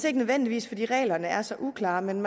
ikke nødvendigvis fordi reglerne er så uklare men